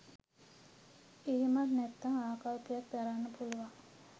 එහෙමත් නැත්නම් ආකල්පයක් දරන්න පුළුවන්.